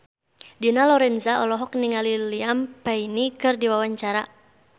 Dina Lorenza olohok ningali Liam Payne keur diwawancara